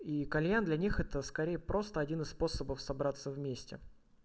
и кальян для них это скорее просто один из способов собраться вместе